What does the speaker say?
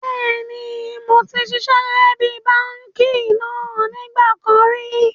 Bẹ́ẹ̀ni moti ṣiṣẹ́ gẹ́gẹ́ bí báànkì náà nígbà kan ríi